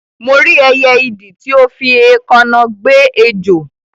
Mo rí ẹyẹ idì ti o fi éèkáná gbe ejò